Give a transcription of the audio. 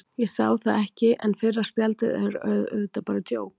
Ég sá það ekki, en fyrra spjaldið er auðvitað bara djók.